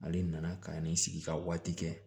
Ale nana ka na ni sigi ka waati kɛ